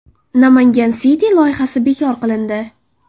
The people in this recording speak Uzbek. Namangan City loyihasi bekor qilindi.